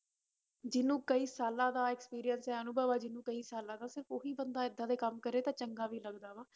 ਜਿਹਨੂੰ ਕਈ ਸਾਲਾਂ ਦਾ experience ਹੈ ਅਨੁਭਵ ਹੈ ਜਿਹਨੂੰ ਕਈ ਸਾਲਾਂ ਦਾ ਸਿਰਫ਼ ਉਹੀ ਬੰਦਾ ਏਦਾਂ ਦੇ ਕੰਮ ਕਰੇ ਤਾਂ ਚੰਗਾ ਵੀ ਲੱਗਦਾ ਵਾ